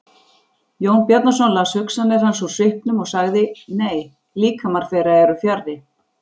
Jón Bjarnason las hugsanir hans úr svipnum og sagði:-Nei, líkamar þeirra eru fjarri.